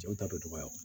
Jɔn ta bɛ dɔgɔya